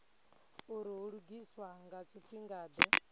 uri hu lugiswa nga tshifhingade